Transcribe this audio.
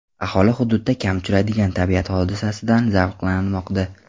Aholi hududda kam uchraydigan tabiat hodisasidan zavqlanmoqda.